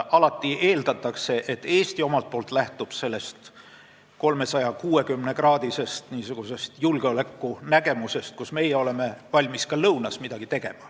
Alati eeldatakse, et Eesti omalt poolt lähtub n-ö 360-kraadisest julgeoleku nägemusest, mille järgi me oleme valmis ka lõunas midagi tegema.